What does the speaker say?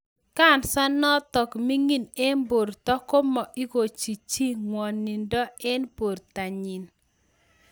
Kansa netako ming'ing en borto komo igochi chi ng'wonindo en bortonyin